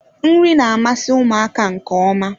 Nri na-amasị ụmụaka nke ọma.